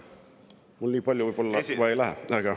Mul nii palju võib-olla vaja ka ei lähe.